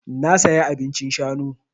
Na saya abincin shanu.